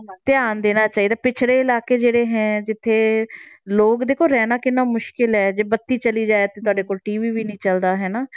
ਧਿਆਨ ਦੇਣਾ ਚਾਹੀਦਾ ਪਿੱਛੜੇ ਇਲਾਕੇ ਜਿਹੜੇ ਹੈ, ਜਿੱਥੇ ਲੋਕ ਦੇਖੋ ਰਹਿਣਾ ਕਿੰਨਾ ਮੁਸ਼ਕਲ ਹੈ ਜੇ ਬੱਤੀ ਚਲੀ ਜਾਏ ਤੇ ਤੁਹਾਡੇ ਕੋਲ TV ਵੀ ਨੀ ਚੱਲਦਾ ਹਨਾ।